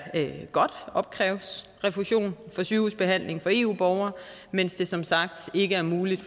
godt opkræves refusion for sygehusbehandling for eu borgere mens det som sagt ikke er muligt